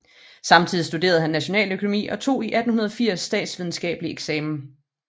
Samtidig studerede han nationaløkonomi og tog i 1880 statsvidenskabelig eksamen